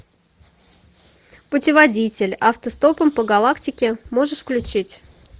путеводитель автостопом по галактике можешь включить